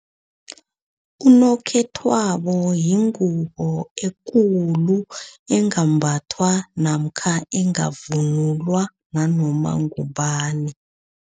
Unokhethwabo yingubo ekulu engambathwa namkha engavunulwa nanoma ngubani.